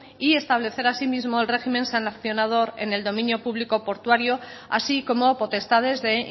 y establecer así mismo el régimen sancionador en el dominio público portuario así como potestades de